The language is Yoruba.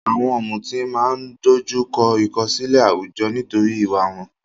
Àwọn ọ̀mùtí máa ń dojú kọ ìkọ̀sílẹ̀ àwùjọ nítorí ìwà wọn.